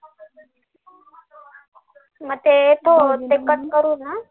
मग ते cut करून ना